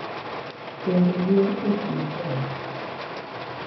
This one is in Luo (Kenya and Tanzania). Kendo luor e kind joot,